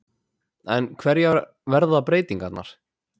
En hverjar verða breytingarnar?